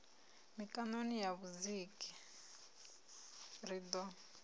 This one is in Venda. mikaṋoni na vhudziki ri ḓo